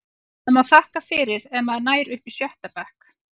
Maður má þakka fyrir ef maður nær upp í sjötta bekk.